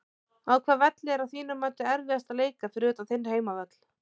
Á hvaða velli er að þínu mati erfiðast að leika fyrir utan þinn heimavöll?